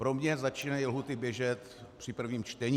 Pro mě začínají lhůty běžet při prvním čtení.